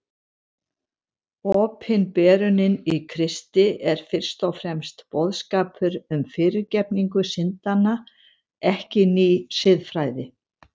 Opinberunin í Kristi er fyrst og fremst boðskapur um fyrirgefningu syndanna, ekki ný siðfræði.